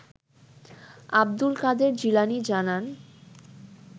আব্দুল কাদের জিলানী জানান